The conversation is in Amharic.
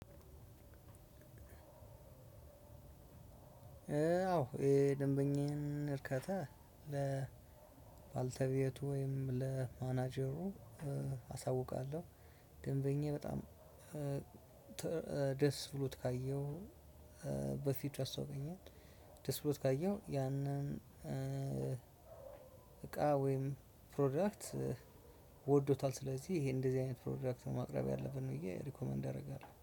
አዎ ደንበኛን እርካታ ለ ለባልተቤቱ ወይም ለማናጀሩ አሳውቃለሁ። ደንበኛ በጣም ደስ ብሎት ካየሁ። በፊት ያስታውቀኛል ደስ ብሎት ካየው ያንን። እቃ ወይም ፕሮዳክት ወዶታል። ስለዚህ ይሄ እንደዚህ አይነት ፕሮዳክት ነው ማቅረብ ያለብን ነው ብዬ ሪኮመንድ አደርጋለሁ